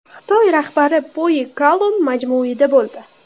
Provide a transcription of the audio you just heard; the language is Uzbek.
Xitoy rahbari Poyi Kalon majmuida bo‘ldi.